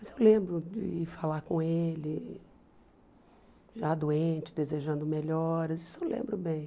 Mas eu lembro de falar com ele já doente, desejando melhoras, isso eu lembro bem.